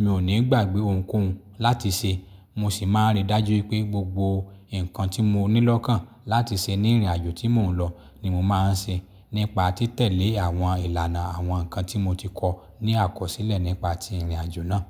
mi ò ní gbàgbé ohunkóhun láti ṣe mo sì máa n rí dájú wípé gbogbo ǹkan tí mo ní lọ́kan láti ṣe ní ìrìnàjò tí mò ń lọ ni mo máa ń ṣe nípa títẹ̀lé àwọn ìlànà àwọn nkan tí mo ti kọ ní àkọsílẹ̀ nípa tí ìrìnàjò náà.